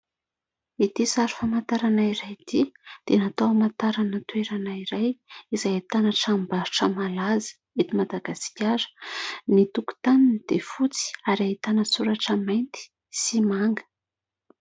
Ity sary famantarana iray ity dia natao hamantarana toerana iray izay ahitana tranombarotra malaza eto Madagasikara. Ny tokotaniny dia fotsy ary ahitana soratra mainty sy manga.